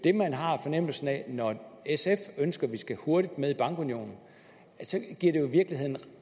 når sf ønsker at vi skal hurtigt med i bankunionen ja